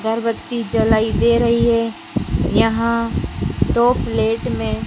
अगरबत्ती जलाई दे रही है यहां दो प्लेट में--